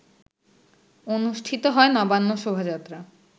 অনুষ্ঠিত হয় নবান্ন শোভাযাত্রা